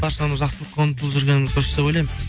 баршамыз жақсылыққа ұмытылып жүргеніміз дұрыс деп ойлаймын